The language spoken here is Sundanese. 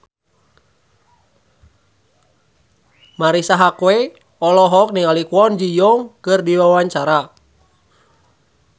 Marisa Haque olohok ningali Kwon Ji Yong keur diwawancara